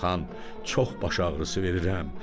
Xan, çox baş ağrısı verirəm.